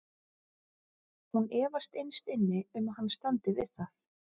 Hún efast innst inni um að hann standi við það.